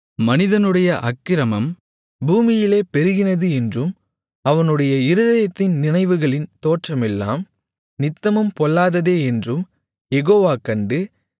மனிதனுடைய அக்கிரமம் பூமியிலே பெருகினது என்றும் அவனுடைய இருதயத்தின் நினைவுகளின் தோற்றமெல்லாம் நித்தமும் பொல்லாததே என்றும் யெகோவா கண்டு